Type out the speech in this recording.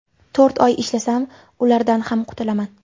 To‘rt oy ishlasam, ulardan ham qutulaman.